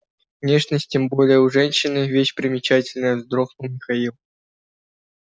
внешность тем более у женщины вещь переменчивая вздохнул михаил